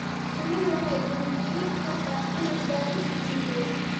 Shinnidu waxay dhiirigelin kartaa cilmi-baadhis cilmiyeed.